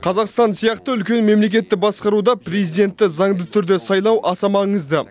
қазақстан сияқты үлкен мемлекетті басқаруда президентті заңды түрде сайлау аса маңызды